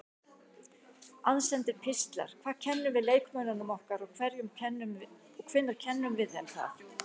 Aðsendir pistlar Hvað kennum við leikmönnunum okkar og hvenær kennum við þeim það?